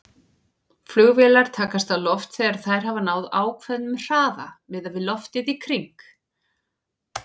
Flugvélar takast á loft þegar þær hafa náð ákveðnum hraða miðað við loftið í kring.